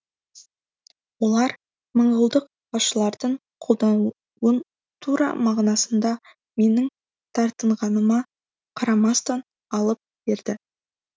олар монғолдық басшылардың қолдауын тура мағынасында менің тартынғаныма қарамастан алып берді